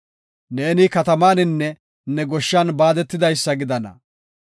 Ne katamaninne ne goshshan baadetidaysa gidana.